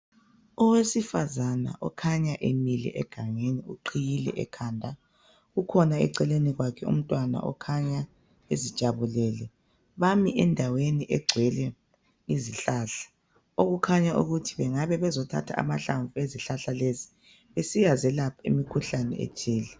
Owesifazana okhanya emile egangeni uqhiyile ekhanda. Kukhona eceleni kwakhe umntwana okhanya ezijabulele. Bami endaweni egcwele izihlahla . OKukhanya ukuthi bengabe bezothatha amahlamvu ezihlahla lezi besiya zelapha imikhuhlane ethile.